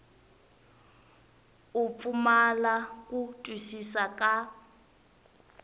u pfumala ku twisisa ka